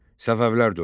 Səfəvilər dövləti.